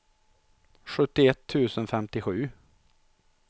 sjuttioett tusen femtiosju